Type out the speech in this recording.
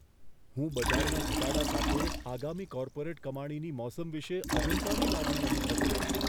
હું બજારના ઘટાડા સાથે આગામી કોર્પોરેટ કમાણીની મોસમ વિશે અજંપાની લાગણી અનુભવી રહ્યો છું.